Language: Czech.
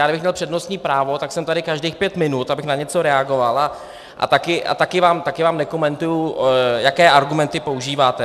Já kdybych měl přednostní právo, tak jsem tady každých pět minut, abych na něco reagoval, a také vám nekomentuji, jaké argumenty používáte.